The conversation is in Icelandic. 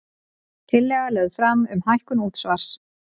Tillaga lögð fram um hækkun útsvars